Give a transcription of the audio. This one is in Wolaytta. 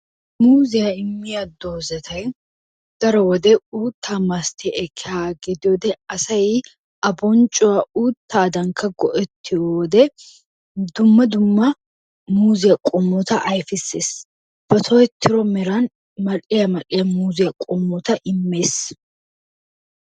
Muuziya immiyaa doozatay daro wode uuttaa massati ekkiyaaga gidiyoode asay I a bonccuwaa uuttadankka go"ettiyoode dumma dumma muuziyaa qommota ayfissees. Ba tohettido meran mal"iya mal"iyaa muuziya qommota immees.